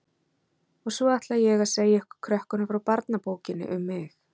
Og svo ætla ég að segja ykkur krökkunum frá barnabókinni um mig.